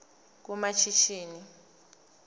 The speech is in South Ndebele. kumashishini